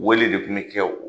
Wele de kun bi kɛ.